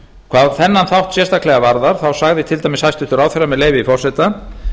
hvað þennan þátt sérstaklega varðar sagði til dæmis hæstvirtur ráðherra með leyfi forseta